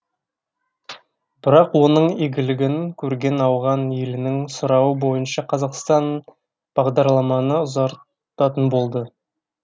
бірақ оның игілігін көрген ауған елінің сұрауы бойынша қазақстан бағдарламаны ұзартатын болды